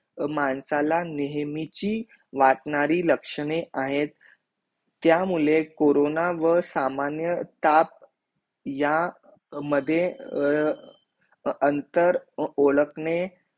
माणसाला नेहमीची वाटणारी लक्षणे आहेत त्या मुळे कोरोना व सामान्य ताप या मध्ये अंतर ओळखणे